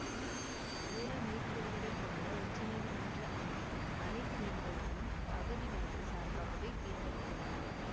ஏழு நீதிபதிகளை கொண்ட உச்ச நீதிமன்ற அமர்வில் அனைத்து நீதிபதிகளும் அகதிகளுக்குச் சார்பாகவே தீர்ப்பளித்துள்ளனர்